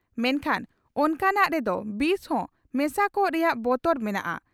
ᱢᱮᱱᱠᱷᱟᱱ ᱚᱱᱠᱟᱱᱟᱜ ᱨᱮ ᱫᱚ ᱵᱤᱥ ᱦᱚᱸ ᱢᱮᱥᱟ ᱠᱚᱜ ᱨᱮᱭᱟᱜ ᱵᱚᱛᱚᱨ ᱢᱮᱱᱟᱜᱼᱟ ᱾